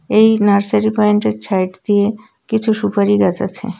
এই নার্সারি পয়েন্টের ছাইড দিয়ে কিছু সুপারি গাছ আছে.